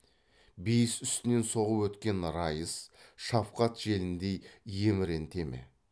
бейіс үстінен соғып өткен райыс шафқат желіндей еміренте ме